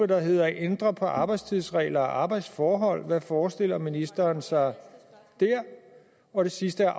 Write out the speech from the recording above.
der hedder at ændre på arbejdstidsregler og arbejdsforhold hvad forestiller ministeren sig der og det sidste